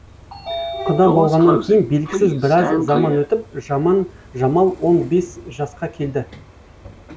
құда болғаннан кейін белгісіз біраз заман өтіп жамал он бес жасқа келді